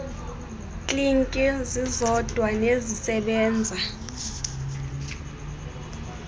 kliniki zizodwa nezisebenza